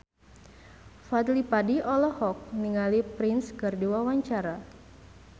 Fadly Padi olohok ningali Prince keur diwawancara